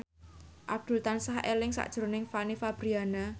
Abdul tansah eling sakjroning Fanny Fabriana